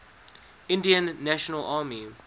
indian national army